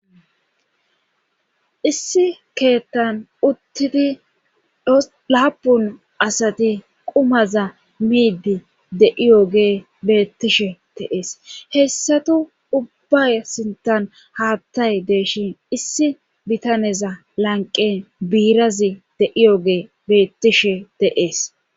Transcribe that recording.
issi keettan uttidi laapun asati qumaza miidi de7iyoge beettishe teees hessatu ubba sintan haattay deeshin issi bitaneza lanqen biirazi deiyoge beettishe te7ees